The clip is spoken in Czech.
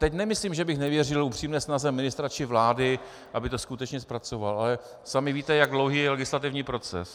Teď nemyslím, že bych nevěřil upřímné snaze ministra či vlády, aby to skutečně zpracovala, ale sami víte, jak dlouhý je legislativní proces.